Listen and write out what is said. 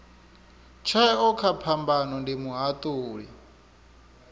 tsheo kha phambano ndi muhatuli